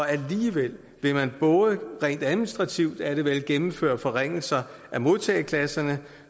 alligevel vil man både rent administrativt er det vel gennemføre forringelser af modtageklasserne